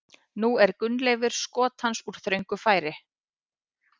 Nú er Gunnleifur skot hans úr þröngu færi.